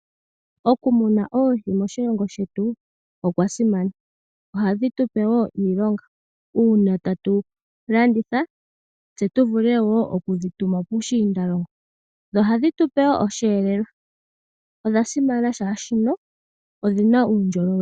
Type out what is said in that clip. Okumuna oohi moshilongo shetu okwa simana oshoka ohadhi tupe iilonga uuna tatu landitha tse tu vule woo okudhituma puushiindalongo. Ohadhi tupe osheelelwa. Odha simana oshoka odhina uundjolowele.